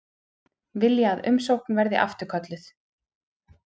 Vilja að umsókn verði afturkölluð